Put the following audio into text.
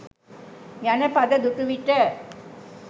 යන පද දුටු විට